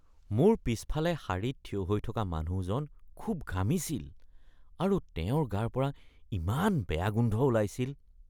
মোৰ পিছফালে শাৰীত থিয় হৈ থকা মানুহজন খুব ঘামিছিল আৰু তেওঁৰ গাৰপৰা ইমান বেয়া গোন্ধ ওলাইছিল।